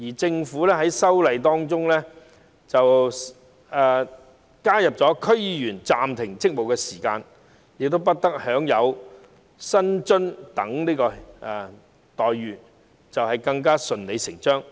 政府在就《條例草案》提出的修正案中，建議區議員在暫停職務期間不得享有薪酬及津貼等待遇，是順理成章。